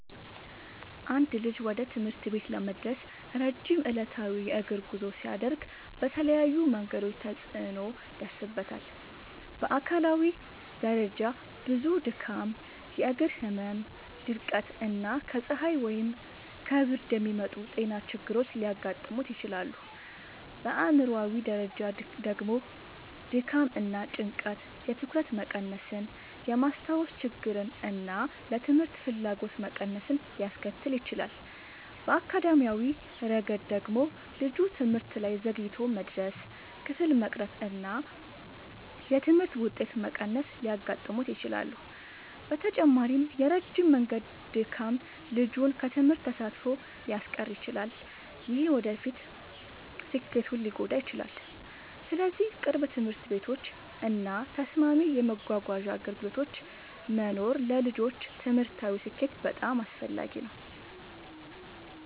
አንድ ልጅ ወደ ትምህርት ቤት ለመድረስ ረጅም ዕለታዊ የእግር ጉዞ ሲያደርግ በተለያዩ መንገዶች ተጽዕኖ ይደርስበታል። በአካላዊ ደረጃ ብዙ ድካም፣ የእግር ህመም፣ ድርቀት እና ከፀሐይ ወይም ከብርድ የሚመጡ ጤና ችግሮች ሊያጋጥሙት ይችላሉ። በአእምሯዊ ደረጃ ደግሞ ድካም እና ጭንቀት የትኩረት መቀነስን፣ የማስታወስ ችግርን እና ለትምህርት ፍላጎት መቀነስን ሊያስከትል ይችላል። በአካዳሚያዊ ረገድ ደግሞ ልጁ ትምህርት ላይ ዘግይቶ መድረስ፣ ክፍል መቅረት እና የትምህርት ውጤት መቀነስ ሊያጋጥሙት ይችላሉ። በተጨማሪም የረጅም መንገድ ድካም ልጁን ከትምህርት ተሳትፎ ሊያስቀር ይችላል፣ ይህም የወደፊት ስኬቱን ሊጎዳ ይችላል። ስለዚህ ቅርብ ትምህርት ቤቶች እና ተስማሚ የመጓጓዣ አገልግሎቶች መኖር ለልጆች ትምህርታዊ ስኬት በጣም አስፈላጊ ነው።